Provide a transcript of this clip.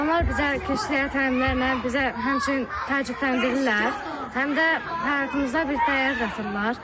Onlar bizə keçdikləri təlimlərlə bizə həmçinin təcrübələndirirlər, həm də həyatımıza bir dəyər qatırlar.